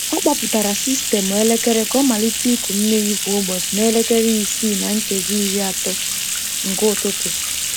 Ọ kpọpụtara sistemụ elekere ka ọ malite ịkụ mmiri kwa ụbọchị na elekere isii na nkeji iri atọ nke ụtụtụ.